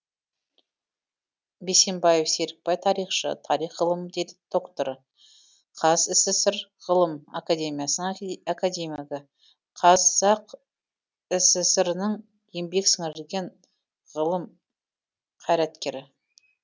бейсембаев серікбай тарихшы тарих ғылыми докторы қазсср ғылым академиясының академигі қазақ сср інің еңбек сіңірген ғылым қайраткері